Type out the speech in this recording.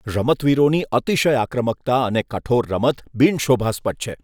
રમતવીરોની અતિશય આક્રમકતા અને કઠોર રમત બિનશોભાસ્પદ છે.